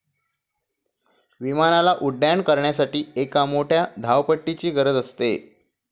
विमानाला उड्डाण करण्यासाठी एक मोठ्या धावपट्टीची गरज असते.